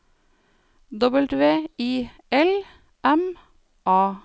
W I L M A